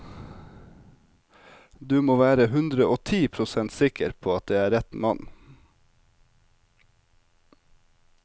Du må være hundreogti prosent sikker på at det er rett mann.